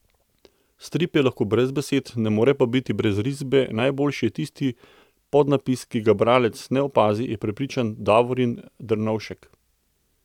Strip je lahko brez besed, ne more pa biti brez risbe in najboljši je tisti podnapis, ki ga bralec ne opazi, je prepričan Davorin Dernovšek.